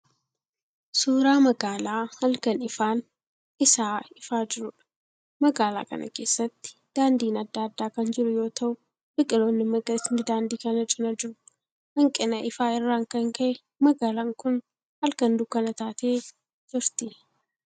Suuraa magaalaa halkan ifaan isaa ifaa jiruudha. Magaalaa kana keessatti daandiin adda addaa kan jiru yoo ta'u biqiloonni magariisni daandii kana cina jiru. Hanqina ifaa irraan kan ka'e magaalaan kun halkan dukkana taatee jirti.